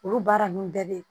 Olu baara ninnu bɛɛ bɛ yen